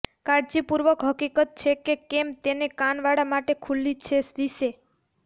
કાળજીપૂર્વક હકીકત છે કે કેમ તે કાન વાળ માટે ખુલ્લી છે વિશે